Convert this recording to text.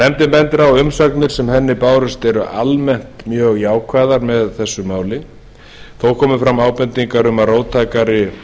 nefndin bendir á að umsagnir sem henni bárust eru mjög almennt jákvæðar með þessu máli þó komu fram ábendingar um að róttækari